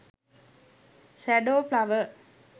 shadow flower